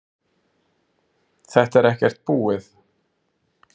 Þetta er ekkert búið